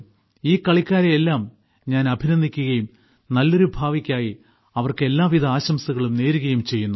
ഈ കളിക്കാരെയെല്ലാം ഞാൻ അഭിനന്ദിക്കുകയും നല്ലൊരു ഭാവിക്കായി അവർക്ക് എല്ലാവിധ ആശംസകളും നേരുകയും ചെയ്യുന്നു